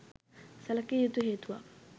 සැලකිය යුතු හේතුවක්